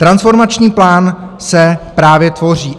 Transformační plán se právě tvoří.